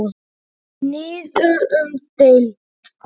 Niður um deild